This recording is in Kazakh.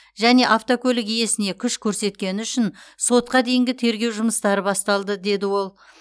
және автокөлік иесіне күш көрсеткені үшін сотқа дейінгі тергеу жұмыстары басталды деді ол